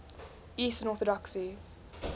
eastern orthodoxy